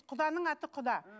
құданың аты құда